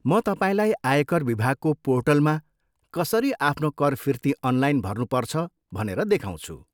म तपाईँलाई आयकर विभागको पोर्टलमा कसरी आफ्नो कर फिर्ती अनलाइन भर्नुपर्छ भनेर देखाउँछु।